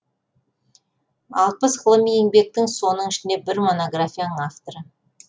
алпыс ғылыми еңбектің оның ішінде бір монографияның авторы